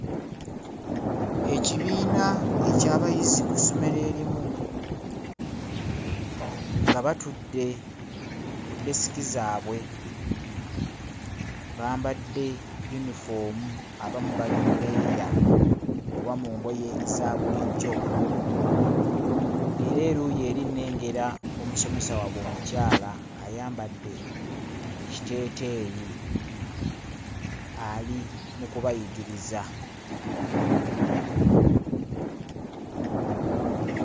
Ekibiina eky'abayizi ku ssomero erimu nga batudde ku ddeesike zaabwe. Bambadde yunifoomu abamu bali mu leeya oba mu ngoye za bulijjo. Ng'era eruuyi eri nnengera omusomesa waabwe omukyala ayambadde ekiteeteeyi ali mu kubayigiriza.